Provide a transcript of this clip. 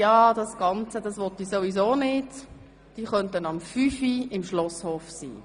Wer findet, er möge dieses Programm nicht, kann um 17.00 Uhr im Schlosshof erscheinen.